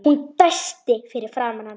Hún dæsti fyrir framan hann.